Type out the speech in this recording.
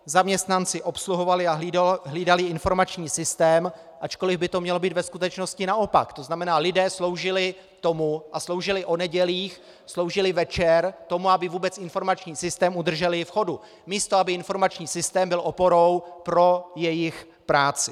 Zaměstnanci obsluhovali a hlídali informační systém, ačkoliv by to mělo být ve skutečnosti naopak, to znamená, lidé sloužili tomu, a sloužili o nedělích, sloužili večer tomu, aby vůbec informační systém udrželi v chodu, místo aby informační systém byl oporou pro jejich práci.